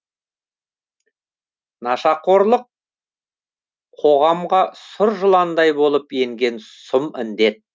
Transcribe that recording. нашақорлық қоғамға сұр жыландай болып енген сұм індет